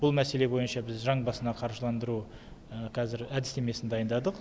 бұл мәселе бойынша біз жан басына қаржыландыру қазір әдістемесін дайындадық